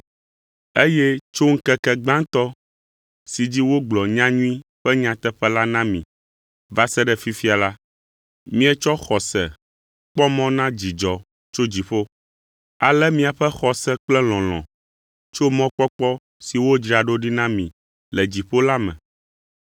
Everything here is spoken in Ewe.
Eye tso ŋkeke gbãtɔ si dzi wogblɔ nyanyui ƒe nyateƒe la na mi va se ɖe fifia la, mietsɔ xɔse kpɔ mɔ na dzidzɔ tso dziƒo. Ale miaƒe xɔse kple lɔlɔ̃ tso mɔkpɔkpɔ si wodzra ɖo na mi le dziƒo la me.